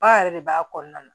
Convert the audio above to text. Ba yɛrɛ de b'a kɔnɔna na